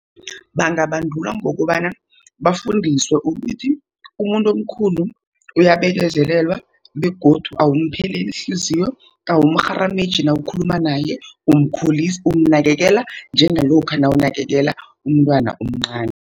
Bangabandulwa ngokobana bafundiswe ukuthi umuntu omkhulu uyabekezelelwa, begodu awumpheleli ihliziyo, awumrharameji nawukhuluma naye, umnakekela njengalokha nawunakekela umntwana omncani.